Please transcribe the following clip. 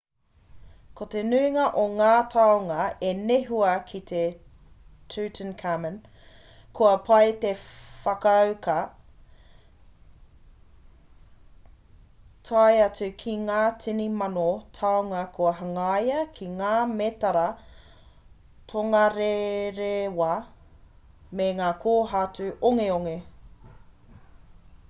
ko te nuinga o ngā taonga i nehua ki a tutankhamun kua pai te whakauka tae atu ki ngā tini mano taonga kua hangaia ki ngā mētara tongarerewa me ngā kōhatu ongeonge